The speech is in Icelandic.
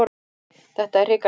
Þetta er hrikalegt.